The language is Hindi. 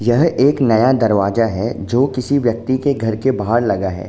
यह एक नया दरवाजा है जो किसी व्यक्ति के घर के बाहर लगा है।